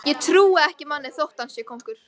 Ég trúi ekki manni þótt hann sé konungur.